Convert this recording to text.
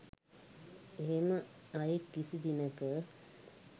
එහෙම අයෙක් කිසි දිනෙක